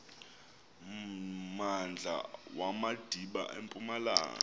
mmandla wamadiba empumalanga